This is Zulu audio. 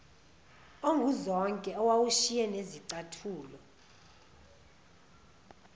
onguzonke owawusushiye nezicathulo